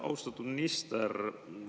Austatud minister!